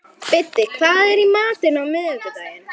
Biddi, hvað er í matinn á miðvikudaginn?